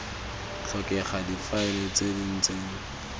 tlhokega difaele tse di ntseng